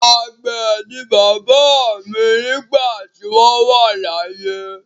Àgbẹ̀ ni bàbá mi nígbà tí wọ́n wà láyé.